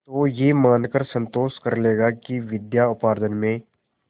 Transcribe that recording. तो यह मानकर संतोष कर लेगा कि विद्योपार्जन में